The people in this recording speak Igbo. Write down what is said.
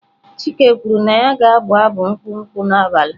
Chike kwuru na ya ga-abụ abụ nkwụ nkwụ n'abalị.